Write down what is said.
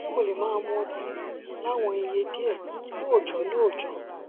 ṣé mo lè máa mu ọtí láwọn iye díẹ lóòjó lóòjó